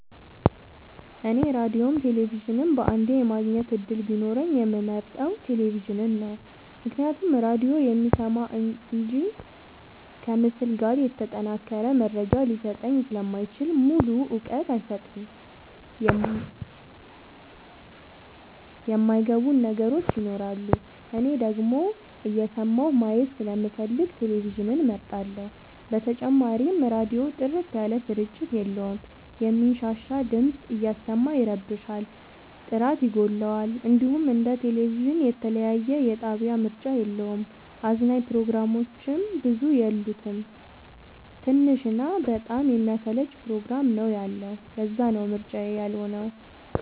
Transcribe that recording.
እኔ ራዲዮም ቴሌቪዥንም በአንዴ የማግኘት እድል ቢኖረኝ የምመርጠው። ቴሌቪዥንን ነው ምክንያቱም ራዲዮ የሚሰማ እንጂ ከምስል ጋር የተጠናቀረ መረጃ ሊሰጠኝ ስለማይችል ሙሉ እውቀት አይሰጥም የማይ ገቡን ነገሮች ይኖራሉ። እኔ ደግሞ እየሰማሁ ማየት ስለምፈልግ ቴሌቪዥንን እመርጣለሁ። በተጨማሪም ራዲዮ ጥርት ያለ ስርጭት የለውም የሚንሻሻ ድምፅ እያሰማ ይረብሻል ጥራት ይጎለዋል። እንዲሁም እንደ ቴሌቪዥን የተለያየ የጣቢያ ምርጫ የለውም። አዝናኝ ፕሮግራሞችም ብዙ የሉት ትንሽ እና በጣም የሚያሰለች ፕሮግራም ነው ያለው ለዛነው ምርጫዬ ያልሆ ነው።